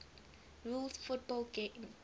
rules football teams